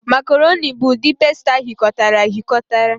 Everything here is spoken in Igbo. Macarọnị bụ ụdị pasta aghikotara aghikotara.